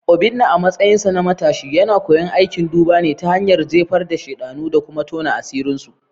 Obinna, a matsayinsa na matashi, yana koyon aikin duba ne ta hanyar jefar da shanu da kuma tona asirinsu.